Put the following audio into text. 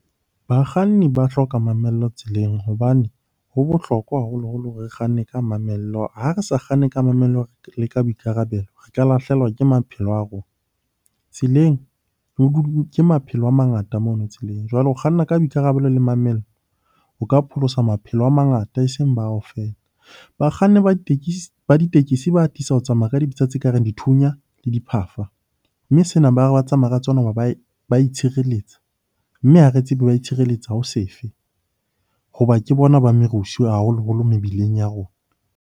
Bakganni ba hloka mamello tseleng hobane ho bohlokwa haholoholo hore re kganne ka mamello. Ha re sa kganne ka mamello le ka boikarabelo, re ka lahlehelwa ke maphelo a rona. Tseleng ke maphelo a mangata mono tseleng. Jwale o kganna ka boikarabelo le mamello, o ka pholosa maphelo a mangata eseng bao feela. Bakganni ba ditekesi ba atisa ho tsamaya ka dibetsa tse kareng dithunya le diphafa, mme sena ba re ba tsamaya ka tsona ho ba ba itshireletsa mme ha re tsebe ba itshireletsa ho se fe? Hoba ke bona ba merusu haholoholo mebileng ya rona.